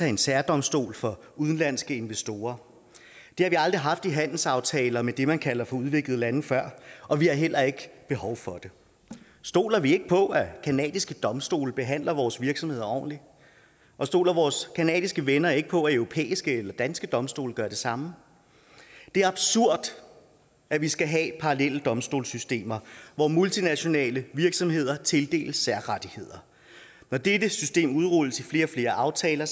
en særdomstol for udenlandske investorer det har vi aldrig haft i handelsaftaler med det man kalder for udviklede lande før og vi har heller ikke behov for det stoler vi ikke på at canadiske domstole behandler vores virksomheder ordentligt og stoler vores canadiske venner ikke på at europæiske eller danske domstole gør det samme det er absurd at vi skal have parallelle domstolssystemer hvor multinationale virksomheder tildeles særrettigheder når dette system udrulles i flere og flere aftaler